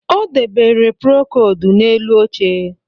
Ọ debere prokodu n'elu oche